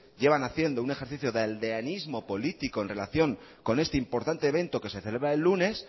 llevan haciendo un ejercicio de aldeanismo político con relación con este importante evento que se celebra el lunes